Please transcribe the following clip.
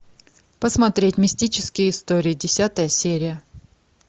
посмотреть мистические истории десятая серия